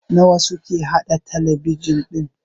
nawa suke haɗa talabijin ɗin?